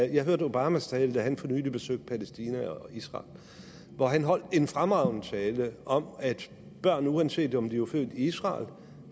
jeg hørte obamas tale da han for nylig besøgte palæstina og israel han holdt en fremragende tale om at børn uanset om de var født i israel